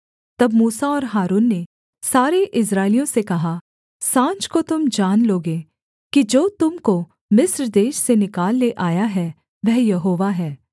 तब मूसा और हारून ने सारे इस्राएलियों से कहा साँझ को तुम जान लोगे कि जो तुम को मिस्र देश से निकाल ले आया है वह यहोवा है